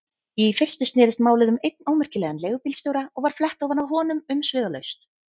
Í fyrstu snerist málið um einn ómerkilegan leigubílstjóra og var flett ofan af honum umsvifalaust.